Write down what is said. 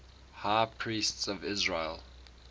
high priests of israel